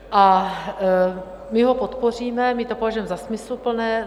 A my ho podpoříme, my to považujeme za smysluplné.